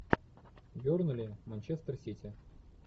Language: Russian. бернли манчестер сити